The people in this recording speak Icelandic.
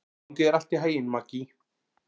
Gangi þér allt í haginn, Maggey.